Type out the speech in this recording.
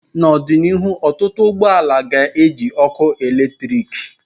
N'ọdịnihu ọtụtụ ụgbọ ala ga-eji ọkụ eletrik.